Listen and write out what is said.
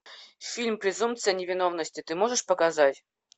фильм презумпция невиновности ты можешь показать